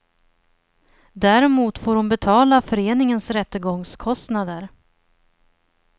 Däremot får hon betala föreningens rättegångskostnader.